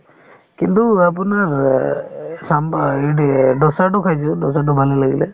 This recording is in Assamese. কিন্তু আপোনাৰ অ চাম্ভাৰ ইদ্ এই দোচাতো খাইছো দোচাতো ভালে লাগিলে